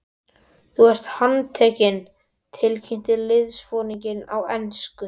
Þú ert handtekinn tilkynnti liðsforinginn á ensku.